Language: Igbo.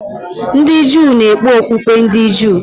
Ndị Juu na-ekpe okpukpe ndị Juu.